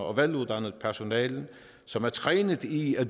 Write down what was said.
og veluddannet personale som er trænet i at